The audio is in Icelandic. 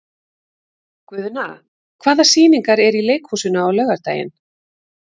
Guðna, hvaða sýningar eru í leikhúsinu á laugardaginn?